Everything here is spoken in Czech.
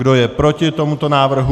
Kdo je proti tomuto návrhu?